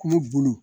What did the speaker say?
K'ulu bolo